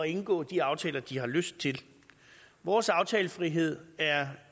indgå de aftaler de har lyst til vores aftalefrihed er